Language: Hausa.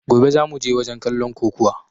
Gobe zamuje wajen kallon kokuwa!